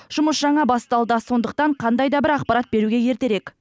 жұмыс жаңа басталды сондықтан қандай да бір ақпарат беруге ертерек